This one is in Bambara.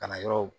Kalanyɔrɔw